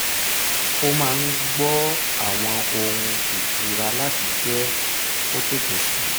ó máa n gbọ́ àwọn ohùn ìtura láti jẹ́ kó tètè sùn